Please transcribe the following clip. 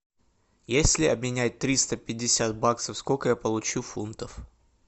если обменять триста пятьдесят баксов сколько я получу фунтов